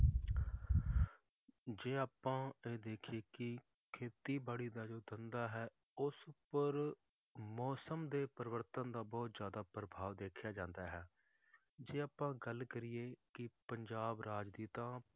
ਜੇ ਆਪਾਂ ਇਹ ਦੇਖੀਏ ਕਿ ਖੇਤੀਬਾੜੀ ਦਾ ਜੋ ਧੰਦਾ ਹੈ ਉਸ ਉੱਪਰ ਮੌਸਮ ਦੇ ਪਰਿਵਰਤਨ ਦਾ ਬਹੁਤ ਜ਼ਿਆਦਾ ਪ੍ਰਭਾਵ ਦੇਖਿਆ ਜਾਂਦਾ ਹੈ, ਜੇ ਆਪਾਂ ਗੱਲ ਕਰੀਏ ਕਿ ਪੰਜਾਬ ਰਾਜ ਦੀ ਤਾਂ,